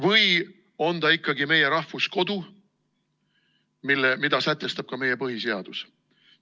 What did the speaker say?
Või on ta ikkagi meie rahvuskodu, mida sätestab ka meie põhiseadus?